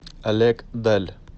олег даль